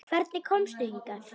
Hvernig komstu hingað?